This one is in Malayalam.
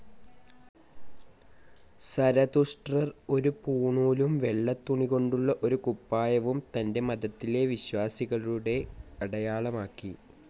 സരതുഷ്ട്രർ ഒരു പൂണൂലും വെള്ള തുണികൊണ്ടുള്ള ഒരു കുപ്പായവും തന്റെ മതത്തിലെ വിശ്വാസികളുടെ അടയാളമാക്കി.